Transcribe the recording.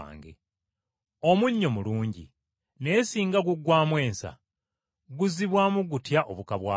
“Omunnyo mulungi, naye singa guggwaamu ensa, guzibwamu gutya obuka bwagwo?